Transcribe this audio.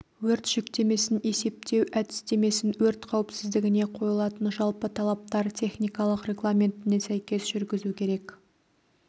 өрт жүктемесін есептеу әдістемесін өрт қауіпсіздігіне қойылатын жалпы талаптар техникалық регламентіне сәйкес жүргізу керек